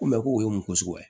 Ko ko o ye mɔgɔ suguya ye